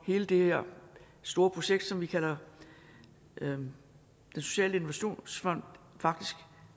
hele det her store projekt som vi kalder den sociale innovationsfond faktisk